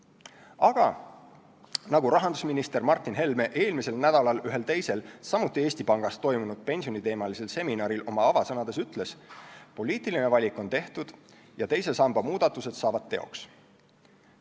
Aga nagu rahandusminister Martin Helme eelmisel nädalal ühel teisel, samuti Eesti Pangas toimunud pensioniteemalisel seminaril oma avasõnades ütles, poliitiline valik on tehtud ja teise samba muudatused saavad teoks.